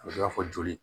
A bɛ n'a fɔ joli